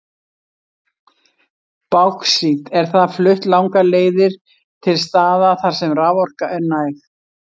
Báxít er því flutt langar leiðir til staða þar sem raforka er næg.